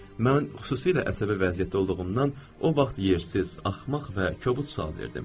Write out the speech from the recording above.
Mən xüsusilə əsəbi vəziyyətdə olduğumdan o vaxt yersiz, axmaq və kobud sual verdim.